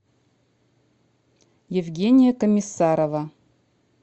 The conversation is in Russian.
евгения комиссарова